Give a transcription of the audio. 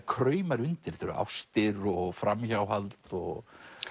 kraumar undir þetta eru ástir og framhjáhald og